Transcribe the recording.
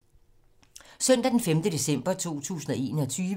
Søndag d. 5. december 2021